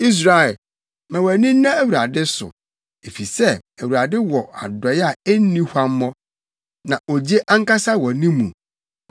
Israel, ma wʼani nna Awurade so, efisɛ Awurade wɔ adɔe a enni huammɔ na ogye ankasa wɔ ne mu.